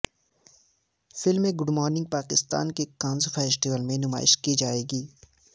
film good morning Pakistan کی Cannes festival میں نمائش کی جائیگی